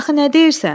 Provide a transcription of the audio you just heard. Axı nə deyirsən?